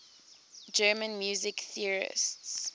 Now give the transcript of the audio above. german music theorists